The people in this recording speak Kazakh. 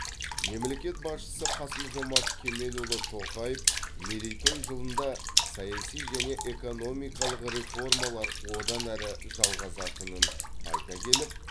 мемлекет басшысы қасым жомарт кемелұлы тоқаев мерейтой жылында саяси және экономикалық реформалар одан әрі жалғасатынын айта келіп